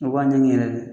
A b'a ɲɛɲini yɛrɛ de